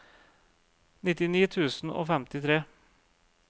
nittini tusen og femtitre